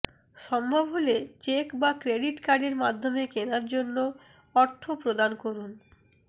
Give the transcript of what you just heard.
সম্ভব হলে চেক বা ক্রেডিট কার্ডের মাধ্যমে কেনার জন্য অর্থ প্রদান করুন